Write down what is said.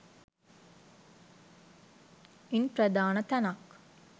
ඉන් ප්‍රධාන තැනක්